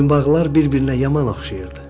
Boyunbağlar bir-birinə yaman oxşayırdı.